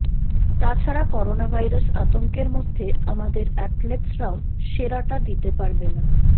তাছাড়া করোনাভাইরাস আতংকের মধ্যে আমাদের অ্যাথলেটসরাও সেরাটা দিতে পারবে না